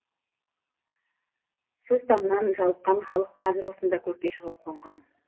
сыз тамнан жалыққан халық қазір осында көкке шығып қонған